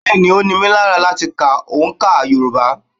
Bẹ́́ẹ̀ ni, ó ní mí lára láti ka òǹkà Yorùbá.